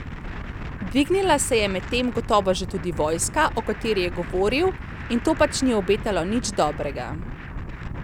Dvignila se je medtem gotovo že tudi vojska, o kateri je govoril, in to pač ni obetalo nič dobrega.